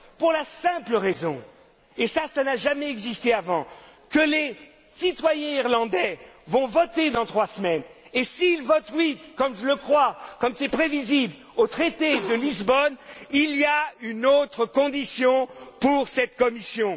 Pour la simple raison, et ça, ça n'a jamais existé avant, que les citoyens irlandais vont voter dans trois semaines, et s'ils votent oui, comme je le crois, comme c'est prévisible, au traité de Lisbonne, il y a une autre condition pour cette Commission.